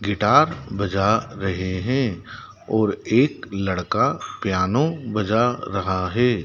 Guitar बजा रहे हैं और एक लड़का पियानो बजा रहा हैं।